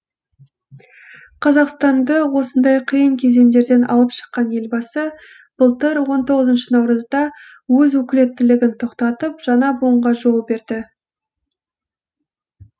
қазақстанды осындай қиын кезеңдерден алып шыққан елбасы былтыр он тоғызыншы наурызда өз өкілеттілігін тоқтатып жаңа буынға жол берді